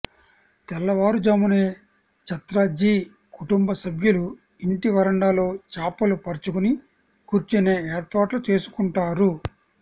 తెల్లవారుజామునే ఛత్రజీ కుటుంబ సభ్యులు ఇంటి వరండాలో చాపలు పరుచుకుని కూర్చునే ఏర్పాట్లు చేసుకుంటారు